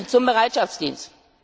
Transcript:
Zum Bereitschaftsdienst.